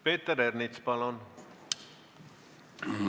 Peeter Ernits, palun!